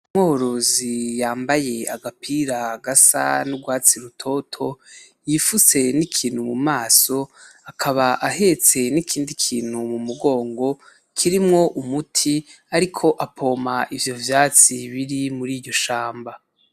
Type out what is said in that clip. Umworozi yambaye agapira gasa n'urwatsi rutoto, yipfutse n'ikintu mu maso, akaba ahetse n'ikindi kintu mu mugongo kirimwo umuti, ariko apompa ivyo vyatsi biri muri iryo shamba.